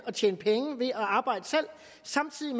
at tjene penge ved at arbejde selv samtidig